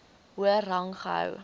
hoër rang gehou